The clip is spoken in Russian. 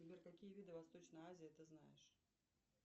сбер какие виды восточной азии ты знаешь